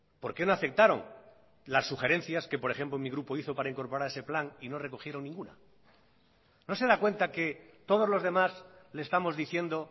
porque no aceptaron las sugerencias que por ejemplo mi grupo hizo para incorporar ese plan y no recogieron ninguna no se da cuenta que todos los demás le estamos diciendo